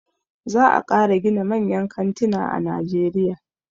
Za a ƙara gina manyan kantina a najeriya.